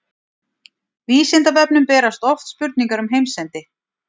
Vísindavefnum berast oft spurningar um heimsendi.